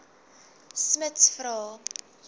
smuts vra